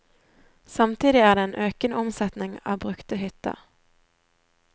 Samtidig er det en økende omsetning av brukte hytter.